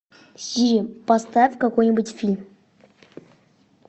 сири поставь какой нибудь фильм